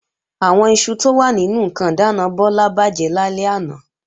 Àwọn iṣu tó wà nínú ǹkan ìdáàna Bọ́lá bàjẹ́ lálẹ́ àná